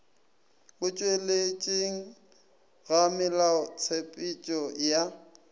go tšweletšeng ga melaotshepetšo ya